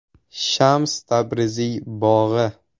Shams Tabriziy bog‘i.